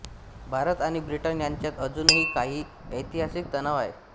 भारत आणि ब्रिटन यांच्यात अजूनही काही ऐतिहासिक तणाव आहे